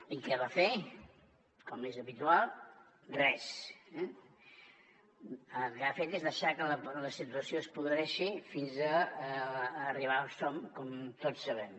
i què va fer com és habitual res eh el que ha fet és deixar que la situació es podreixi fins a arribar on som com tots sabem